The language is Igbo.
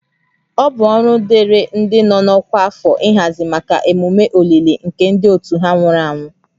Ọ bụ ọrụ dịịrị ndị nọ n'ọkwa afọ ịhazi maka emume olili nke ndị otu ha nwụrụ anwụ